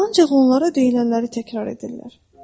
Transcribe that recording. Ancaq onlara deyilənləri təkrar edirlər.